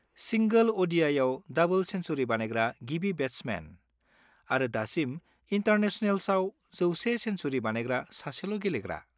सिंगोल अ'डिआइआव डाबोल सेन्सुरि बानायग्रा गिबि बेट्समेन, आरो दासिम इनटारनेसनेल्सआव 100 सेनसुरि बानायग्रा सासेल' गेलेग्रा।